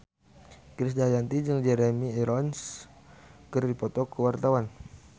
Krisdayanti jeung Jeremy Irons keur dipoto ku wartawan